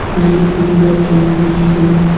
many people can be seen.